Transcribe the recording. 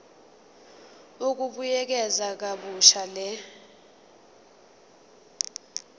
ukubuyekeza kabusha le